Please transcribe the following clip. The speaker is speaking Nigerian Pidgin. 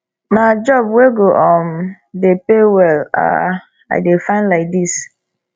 na job wey go um dey pay well um i dey find lai dis